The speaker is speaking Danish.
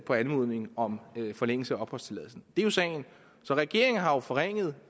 på anmodningen om forlængelse af opholdstilladelsen det er jo sagen så regeringen har jo forringet